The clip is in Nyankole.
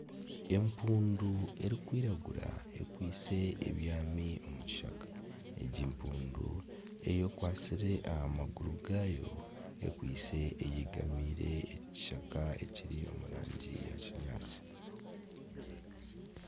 Empundu erikwiragura ekwaitse ebyami omu kishaka. Egi mpundu eyekwatsire aha maguru gaayo. Ekwaitse eyegamiire ekishaka ekiri omu rangi ya kinyaatsi.